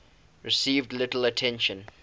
received little attention